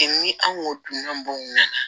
ni anw ko dunan b'anw na